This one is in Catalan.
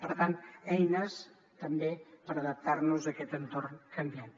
per tant eines també per adaptar nos a aquest entorn canviant